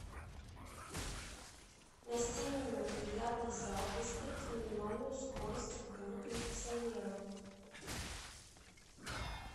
на семь минут бильярдный зал выставить минимальную скорость обдува кондиционера